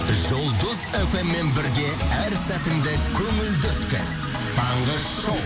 жұлдыз фм мен бірге әр сәтіңді көңілді өткіз таңғы шоу